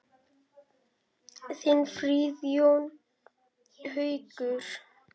Þinn Friðjón Haukur.